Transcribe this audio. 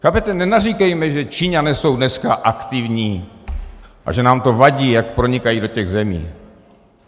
Chápete, nenaříkejme, že Číňané jsou dneska aktivní a že nám to vadí, jak pronikají do těch zemí.